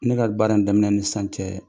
Ne ka baara in daminɛ ni sisan cɛɛ